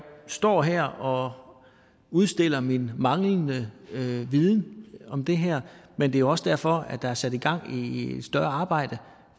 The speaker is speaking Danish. står her og udstiller min manglende viden om det her men det er også derfor der er sat gang i et større arbejde